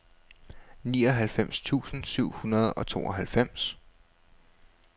nioghalvfems tusind syv hundrede og tooghalvfems